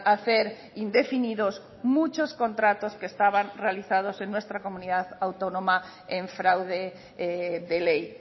hacer indefinidos muchos contratos que estaban realizados en nuestra comunidad autónoma en fraude de ley